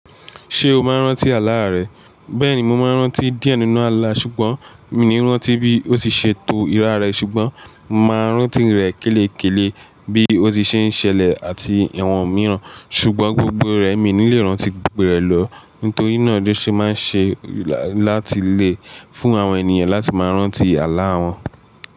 Ṣé o máa ń rántí àlá rẹ? Bẹ́ẹ̀ni, mo máa ń rántí díẹ̀ nínú àlá ṣùgbọ́n mi ò ní rántí bí ó ṣe to irá rẹ̀ ṣùgbọ́n màá rántí rẹ̀ kélè-kélé bí ó ṣe ń ṣẹlẹ̀ àti ìwọ̀n mìíràn ṣùgbọ́n gbogbo rẹ̀ mi ò ní lè rántí gbogbo rẹ̀ lọ nítorí náà ló ṣe máa ń ṣe láti lè fún àwọn ènìyàn láti máa rántí àlá wọn.